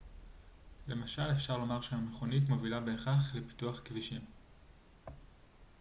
למשל אפשר לומר שהמכונית מובילה בהכרח לפיתוח כבישים